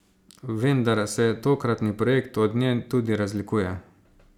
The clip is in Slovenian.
Vendar se tokratni projekt od nje tudi razlikuje.